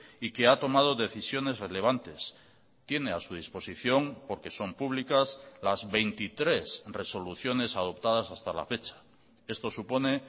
y que ha tomado decisiones relevantes tiene a su disposición porque son públicas las veintitrés resoluciones adoptadas hasta la fecha esto supone